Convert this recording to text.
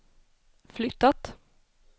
flyttat